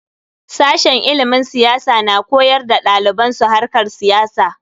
Sashen ilimin siyasa na koyar wa daliban su harkar siyasa.